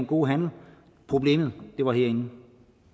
god handel problemet lå herinde